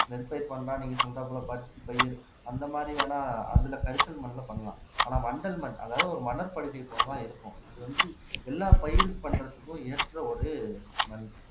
நெற்பயிர் பண்ணலாம் நீங்க சொல்றாப்புல பருத்தி பயிர் அந்த மாதிரி வேணா அதுல கரிசல் மண்ணுல பண்ணலாம் ஆனா வண்டல் மண் அதாவது ஒரு மணற்படுக்கை போலதான் இருக்கும் அது வந்து எல்லா பயிர் பண்றதுக்கும் ஏற்ற ஒரு மண்